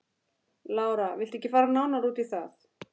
Lára: Viltu ekki fara nánar út í það?